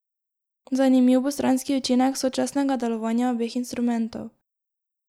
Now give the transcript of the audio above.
Zanimiv bo stranski učinek sočasnega delovanja obeh instrumentov.